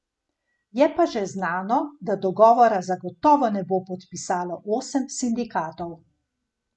Je pa že znano, da dogovora zagotovo ne bo podpisalo osem sindikatov.